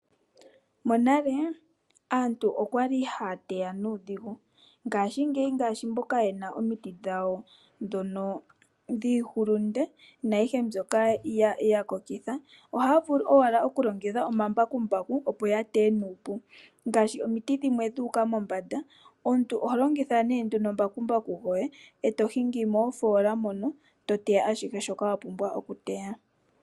Monale aantu okwali haya teya nuudhigu , ngaashingeyi ngaashi mboka yena omiti dhawo dhono dhiiyimati na ayighe mbyoka yakokitha ,ohaya vulu owala okulongitha omambaku mbaku opo yateye nuupu ,ngaashi omiti dhimwe dhuuka mombanda omntu oholongitha nee nduno mbaku mbaku gwoye eto gingi moofoola mono toteya ashihe shoka wapumbwa oku teya .